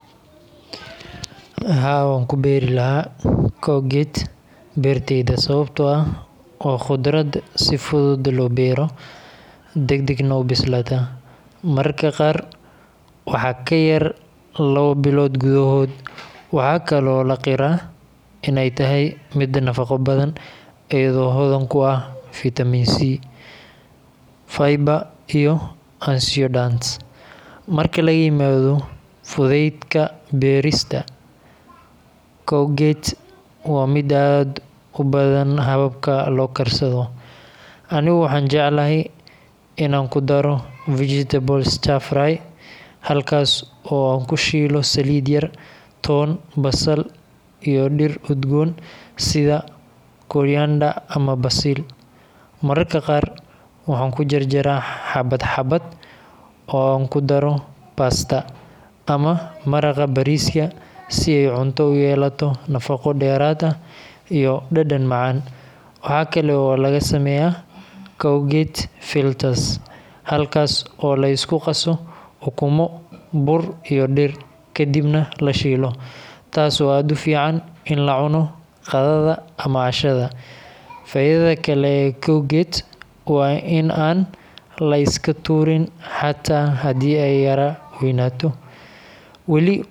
haa wankubri laxaa courgette berteyda sawabtoo ax waa qudrad si fudud loo bero dagdag neh ubislata. Mararka qaar waxaa kayar lawa bilood gudahood. waxaa kale oo laqiraa ineytaxy mid nafaqo badan iyado hodan kuax vitamin c, fiber iyo a antioxidant. Marki laimado fudedka berista cougette wa mid aad ubadan hababka lookarsado . Ani waxaan jecelhy inaan kudaro vegetables stir fry halkas oo aan kushiilo salid yar, toon, basal iyo dir udgoon sida coriander ama basil. mararka qaar waxaan kujarjaraa xabadxabad oo aan kudaro Pasta ama maraqa bariska si ey cunto uyelato nafaqo deraad ax iyo dadan macaan. waxaa kae oo lagasameyaa courgette filters halkas oo liskugaso ukuumo bur iyo dir kadib neh lashilo taas oo aad uficn in lacuno qadada ama cashada. Faidada kale oo cougette wa in an liskaturin hada hadey ey yara weynato.